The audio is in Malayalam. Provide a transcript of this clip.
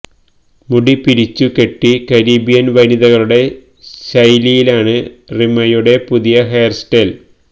മുടി പിരിച്ചു കെട്ടി കരീബിയന് വനിതകളുടെ ശൈലിയിലാണ് റിമയുടെ പുതിയ ഹെയര് സ്റ്റൈല്